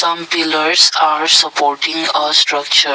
some pillars are supporting us structure.